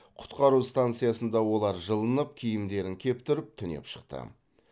құтқару станциясында олар жылынып киімдерін кептіріп түнеп шықты